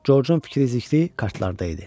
Corcun fikri zikri kartlarda idi.